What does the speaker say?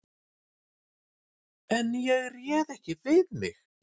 En ég réð ekki við mig.